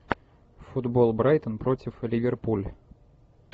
футбол брайтон против ливерпуль